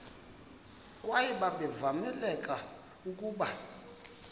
kwaye babevamelekile ukuba